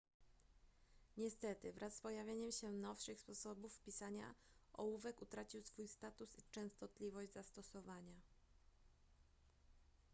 niestety wraz z pojawieniem się nowszych sposobów pisania ołówek utracił swój status i częstotliwość zastosowania